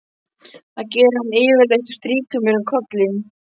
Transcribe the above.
Það gerir hann yfirleitt og strýkur mér um kollinn.